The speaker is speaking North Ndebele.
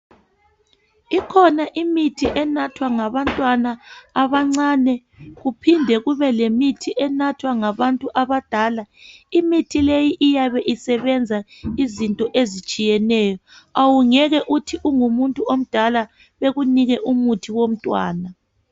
Ikhona imithi enathwa ngabantwana abancane kuphinde kube lemithi enathwa ngabantu abadala .Imithi leyi iyabe isebenza izinto ezitshiyeneyo awungeke uthi ungumuntu omdala bekunike umuthi womntwana .